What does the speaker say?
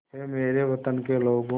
ऐ मेरे वतन के लोगों